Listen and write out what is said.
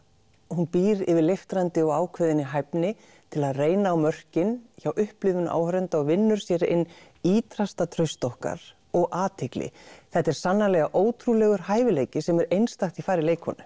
hún býr yfir leiftrandi og ákveðinni hæfni til að reyna á mörkin hjá upplifun áhorfenda og vinnur sér inn ítrasta traust okkar og athygli þetta er sannarlega ótrúlegur hæfileiki sem er einstakt í fari leikkonu